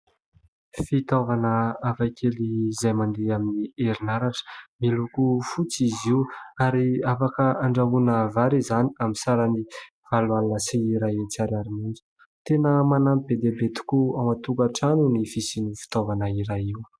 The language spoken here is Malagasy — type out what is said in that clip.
Fitaovana hafakely izay mandeha amin'ny herinaratra, miloko fotsy izy io ary afaka andrahoana vary izany amin'ny sarany valo alina sy iray hetsy ariary monja; tena manampy be dia be tokoa ao antokantrano ny fisian'io fitaovana iray io.